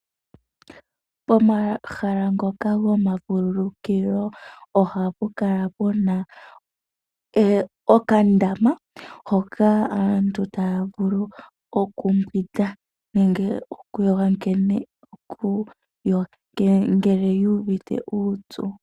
Pomahala ngoka gomavululukilo oha pu kala pu na okandama hoka aantu taya vulu okumbwinda nenge okuyoga ngele yuuvite uupyu.